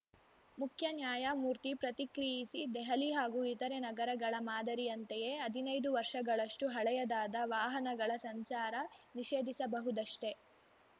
ಮುಖ್ಯ ನ್ಯಾಯಮೂರ್ತಿ ಪ್ರತಿಕ್ರಿಯಿಸಿ ದೆಹಲಿ ಹಾಗೂ ಇತರೆ ನಗರಗಳ ಮಾದರಿಯಂತೆಯೇ ಹದಿನೈದು ವರ್ಷಗಳಷ್ಟುಹಳೆಯದಾದ ವಾಹನಗಳ ಸಂಚಾರ ನಿಷೇಧಿಸಬಹುದಷ್ಟೆ